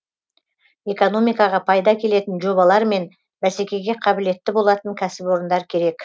экономикаға пайда әкелетін жобалар мен бәсекеге қабілетті болатын кәсіпорындар керек